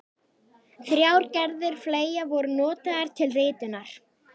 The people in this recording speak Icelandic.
Þrjár gerðir fleyga voru notaðar til ritunar.